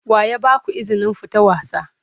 Wa ya ba ku izinin fita wasa?